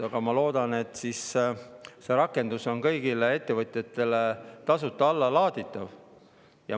Aga ma loodan, et see rakendus on kõigile ettevõtjatele tasuta allalaaditav.